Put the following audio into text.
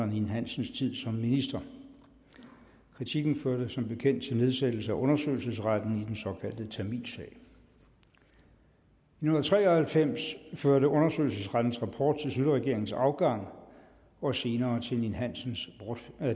ninn hansens tid som minister kritikken førte som bekendt til nedsættelse af undersøgelsesretten i den såkaldte tamilsag i nitten tre og halvfems førte undersøgelsesrettens rapport til schlüterregeringens afgang og senere til erik ninn hansens